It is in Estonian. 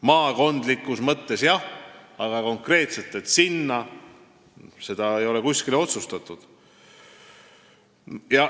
Maakondlikus mõttes jah, aga konkreetselt, et sinna – seda ei ole kuskil otsustatud.